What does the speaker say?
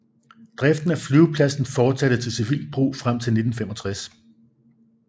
Driften af flyvepladsen fortsatte til civilt brug frem til 1965